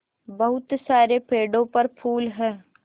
बहुत सारे पेड़ों पर फूल है